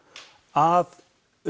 að